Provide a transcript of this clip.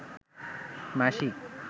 মাসি